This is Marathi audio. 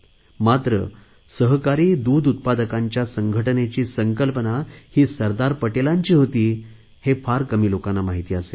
मात्र सहकारी दूध उत्पादकांच्या संघटनेची संकल्पना सरदार पटेलांची होती हे फार कमी लोकांना माहिती असेल